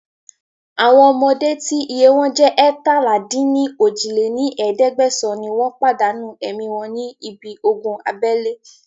Àwọn ọmọdé tí iye wọn jẹ́ eétalá-dín-ní-ojì lé ní ẹ̀ẹ́dẹ́gbẹ́sán ni wọn pàdánù ẹ̀mí wọn ní ibi ogun abẹ́lé